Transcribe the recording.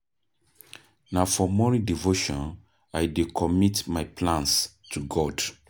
Na for morning devotion I dey commit my plans to God.